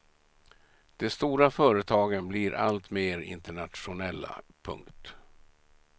De stora företagen blir alltmer internationella. punkt